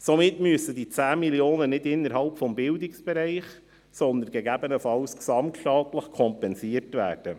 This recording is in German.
Somit müssen die 10 Mio. Franken nicht innerhalb des Bildungsbereichs, sondern gegebenenfalls gesamtstaatlich kompensiert werden.